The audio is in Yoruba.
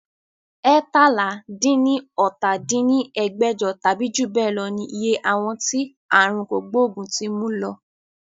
eétalá-dín-ní-ọ́ta dín ní ẹgbẹ́jọ tàbí jù bẹ lọ ní iye àwọn tí aàrùn kògbógùn ti mú lọ